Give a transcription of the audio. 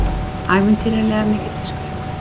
Ævintýralega mikill fiskur hérna